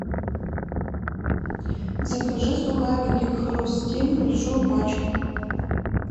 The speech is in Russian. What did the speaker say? закажи сухарики хрустим большую пачку